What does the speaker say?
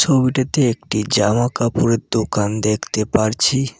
ছবিটিতে একটি জামা কাপড়ের দোকান দেখতে পারছি।